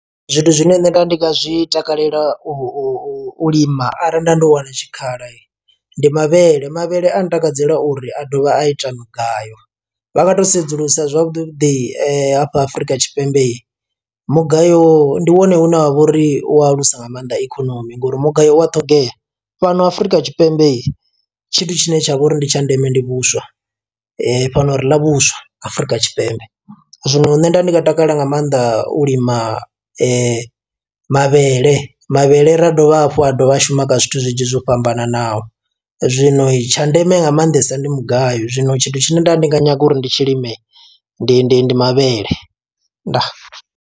Zwithu zwine nṋe nda ndi nga zwi takalela u u u lima arali nda ndo wana tshikhala ndi mavhele, mavhele a ntakadzela uri a dovha a ita mugayo, vha nga to sedzulusa zwavhuḓi vhuḓi afha Afurika Tshipembe mugayo ndi wone une wa vhori u alusa nga maanḓa ikonomi ngori mugayo u a ṱhogea. Fhano Afrika Tshipembe tshithu tshine tshavha uri ndi tsha ndeme ndi vhuswa fhano ri ḽa vhuswa Afurika Tshipembe, zwino nṋe nda ndi nga takalela nga maanḓa u lima mavhele, mavhele ra dovha hafhu a dovha a shuma kha zwithu zwinzhi zwo fhambananaho zwino tsha ndeme nga maanḓesa ndi mugayo zwino tshithu tshine nda ndi nga nyaga uri ndi tshilime ndi ndi ndi mavhele, ndaa.